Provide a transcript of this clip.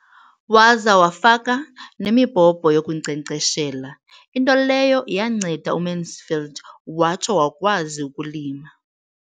Waza wafaka nemibhobho yokunkcenkceshela, into leyo yanceda uMansfield watsho wakwazi ukulima.